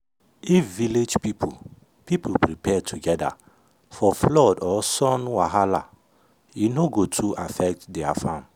if village people people prepare together for flood or sun wahala e no go too affect their farm.